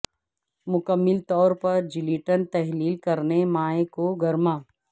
مکمل طور پر جلیٹن تحلیل کرنے مائع کو گرما